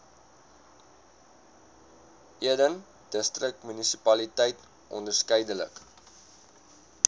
eden distriksmunisipaliteit onderskeidelik